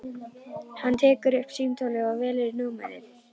Hann tekur upp símtólið og velur númerið.